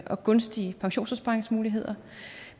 og gunstige pensionsopsparingsmuligheder